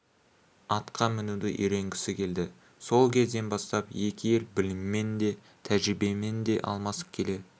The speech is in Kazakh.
атқа мінуді үйренгісі келді сол кезден бастап екі ел біліммен де тәжірибемен де алмасып келе